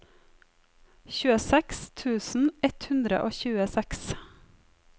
tjueseks tusen ett hundre og tjueseks